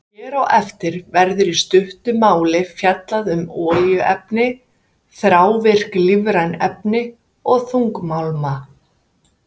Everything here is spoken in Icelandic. Hér á eftir verður í stuttu máli fjallað um olíuefni, þrávirk lífræn efni og þungmálma.